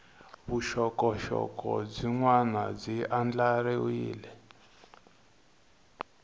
vuxokoxoko byin wana byi andlariwile